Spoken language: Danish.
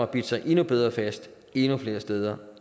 bidt sig endnu bedre fast endnu flere steder